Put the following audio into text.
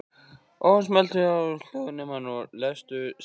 En Hvernig er staðið að kvennaknattspyrnunni innan félagsins?